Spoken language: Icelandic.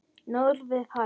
Norðrið man.